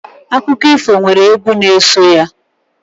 Akụkọ ifo nwere egwu n'eso ya.